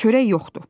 Çörək yoxdur.